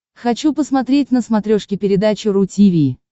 хочу посмотреть на смотрешке передачу ру ти ви